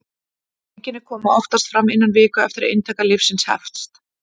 einkenni koma oftast fram innan viku eftir að inntaka lyfsins hefst